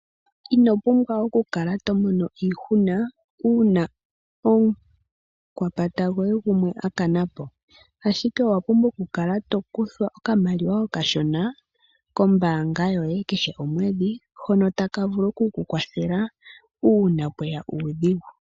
Ino pumbwa okukala tomono iihuna, uuna omukwapata gwoye gumwe a kana po. Ashike owa pumbwa okukala to kuthwa okamaliwa kashona kombaanga yoye kehe komwedhi, hono taka vulu oku ku kwathela uuna pweya uudhigu.